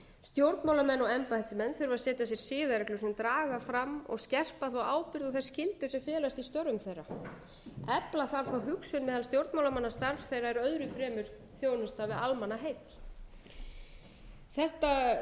stjórnmálamenn og embættismenn þurfa að setja sér siðareglur sem draga fram og skerpa ábyrgð og þær skyldur sem felast í störfum þeirra efla þarf hugsun meðal stjórnmálamanna ef starf þeirra er öðru fremur þjónusta við almannaheill